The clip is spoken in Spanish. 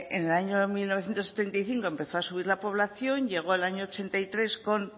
en el año mil novecientos setenta y cinco empezó a subir la población llegó al año mil novecientos ochenta y tres con